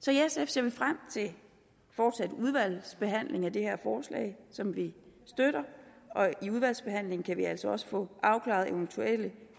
så i sf ser vi frem til den fortsatte udvalgsbehandling af det her forslag som vi støtter og i udvalgsbehandlingen kan vi altså også få afklaret eventuelle